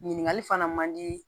Ɲininkali fana man di